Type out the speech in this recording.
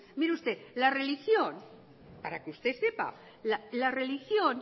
mire usted la religión para que usted sepa la religión